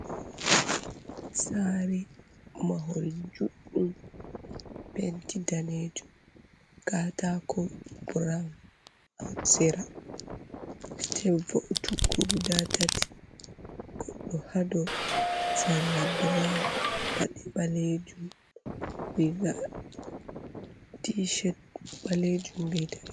Sare mahol juddum penti danejum gatako braun, hasira bellel va’ utukko guda tati goddo hado sarla bran padi balejum vriga tished balejum beidanai.